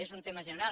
és una tema general